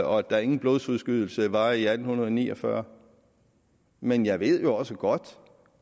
og at der ingen blodsudgydelser var i atten ni og fyrre men jeg ved jo også godt